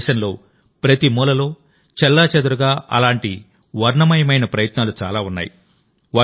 మన దేశంలోప్రతి మూలలో చెల్లాచెదురుగా అలాంటి వర్ణమయమైన ప్రయత్నాలు చాలా ఉన్నాయి